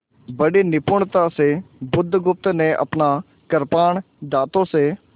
बड़ी निपुणता से बुधगुप्त ने अपना कृपाण दाँतों से